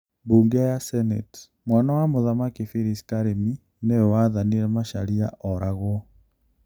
Mbunge ya Senate: Mwana wa mũthamaki Philis karĩmi nĩ we wathanire macharia oragwo